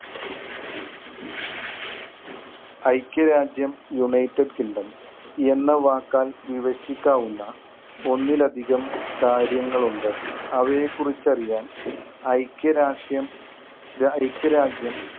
ഐക്യരാജ്യം united kingdom എന്ന വാക്കാൽ വിഭശിക്കാവുന്ന ഒന്നിലധികം കാര്യങ്ങൾ ഉണ്ട്. അവയെക്കുറിച്ച് അറിയാൻ ഐക്യരാഷ്യം ഐക്യരാജ്യം